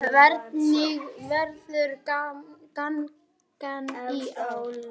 Hvernig verður gangan í ár?